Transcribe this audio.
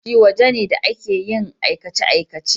Ofishi waje ne da ake yin aikace-aikace.